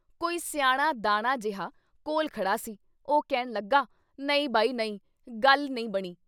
ਕੋਈ ਸਿਆਣਾ ਦਾਨਾ ਜੇਹਾ ਕੋਲ ਖੜ੍ਹਾ ਸੀ ਉਹ ਕਹਿਣ ਲੱਗਾ- "ਨਹੀਂ ਬਈ ਨਹੀਂ ਗੱਲ ਨਹੀਂ ਬਣੀਂ।"